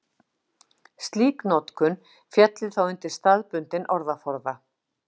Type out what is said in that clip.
slík notkun félli þá undir staðbundinn orðaforða